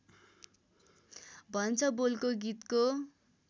भन्छ बोलको गीतको